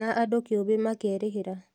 Na andũ kĩũmbe makerĩhĩra